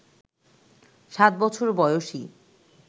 সাত বছর বয়সি